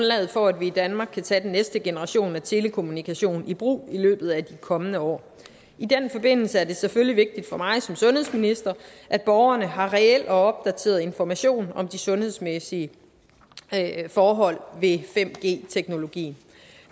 for at vi i danmark kan tage den næste generation af telekommunikation i brug i løbet af de kommende år i den forbindelse er det selvfølgelig vigtigt for mig som sundhedsminister at borgerne har reel og opdateret information om de sundhedsmæssige forhold ved 5g teknologien